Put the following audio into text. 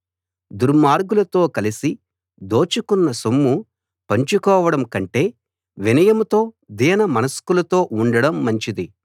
దుర్మార్గులతో కలసి దోచుకున్న సొమ్ము పంచుకోవడం కంటే వినయంతో దీన మనస్కులతో ఉండడం మంచిది